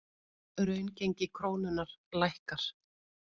Raungengi krónunnar lækkar